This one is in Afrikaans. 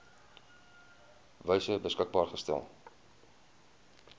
wyse beskikbaar gestel